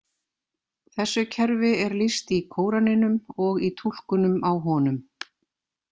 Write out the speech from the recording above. Þessu kerfi er lýst í Kóraninum og í túlkunum á honum.